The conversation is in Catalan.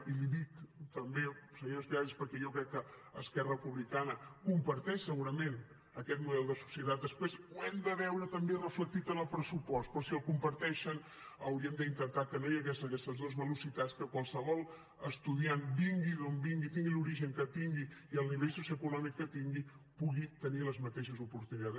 i l’hi dic també senyora espigares perquè jo crec que esquerra republicana comparteix segurament aquest model de societat després ho hem de veure també reflectit en el pressupost però si el comparteixen hauríem d’intentar que no hi hagués aquestes dos velocitats que qualsevol estudiant vingui d’on vingui tingui l’origen que tingui i el nivell socioeconòmic que tingui pugui tenir les mateixes oportunitats